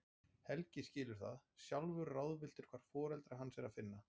Helgi skilur það, sjálfur ráðvilltur hvar foreldra hans er að finna.